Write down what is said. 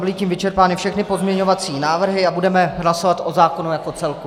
Byly tím vyčerpány všechny pozměňovací návrhy a budeme hlasovat o zákonu jako celku.